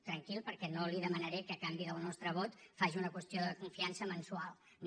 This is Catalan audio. tranquil perquè no li demanaré que a canvi del nostre vot faci una qüestió de confiança mensual no